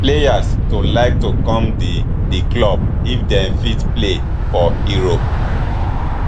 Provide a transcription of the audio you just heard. players to like to come di di club if dem fit play for europe